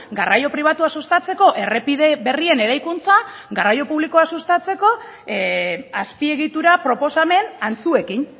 garraio pribatua sustatzeko errepide berrien eraikuntza garraio publikoa sustatzeko azpiegitura proposamen antzuekin